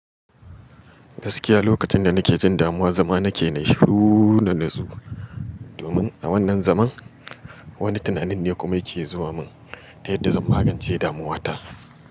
Gaskiya lokacin da nake jin damuwa zama nake na yi shuu na natsu. Domin a wannan zaman wani tunanin ne kuma yake zuwa mun ta yadda zan magance damuwa ta.